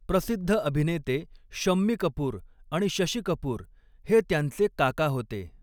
प्रसिद्ध अभिनेते शम्मी कपूर आणि शशी कपूर हे त्यांचे काका होते.